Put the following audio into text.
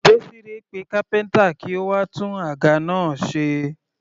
Desire pe kápẹ́ntà kí ó wá tún àga náà ṣe.